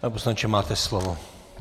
Pane poslanče, máte slovo.